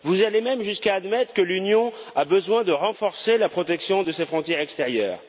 Vous allez même jusqu'à admettre que l'Union a besoin de renforcer la protection de ses frontières extérieures.